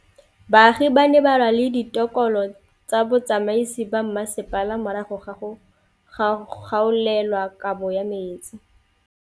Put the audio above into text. Baagi ba ne ba lwa le ditokolo tsa botsamaisi ba mmasepala morago ga go gaolelwa kabo metsi